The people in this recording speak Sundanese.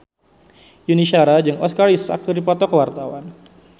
Yuni Shara jeung Oscar Isaac keur dipoto ku wartawan